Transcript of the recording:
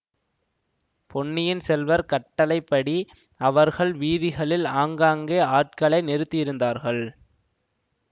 பொன்னியின் செல்வர் கட்டளைபடி அவர்கள் வீதிகளில் ஆங்காங்கே ஆட்களை நிறுத்தியிருந்தார்கள்